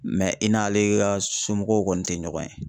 i n'ale ka somɔgɔw kɔni te ɲɔgɔn ye.